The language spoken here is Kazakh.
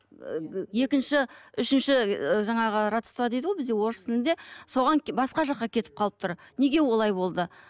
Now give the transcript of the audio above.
екінші үшінші і жаңағы родство дейді ғой бізде орыс тілінде соған басқа жаққа кетіп қалып тұр неге олай болды